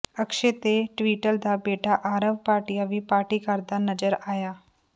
ਅਕਸ਼ੈ ਤੇ ਟਵਿੰਟਲ ਦਾ ਬੇਟਾ ਆਰਵ ਭਾਟੀਆ ਵੀ ਪਾਰਟੀ ਕਰਦਾ ਨਜ਼ਰ ਆਇਆ